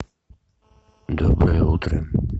доброе утро